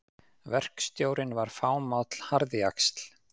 Verkstjórinn var fámáll harðjaxl.